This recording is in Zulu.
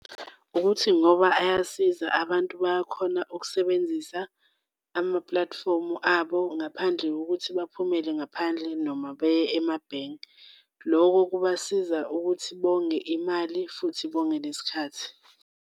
Ukuthi ngoba ayasiza abantu bayakhona ukusebenzisa amapulatifomu abo ngaphandle kokuthi baphumele ngaphandle noma beye emabhenki. Loko kubasiza ukuthi bonge imali futhi bonge nesikhathi.